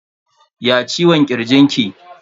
Ya ciwon kirji ki?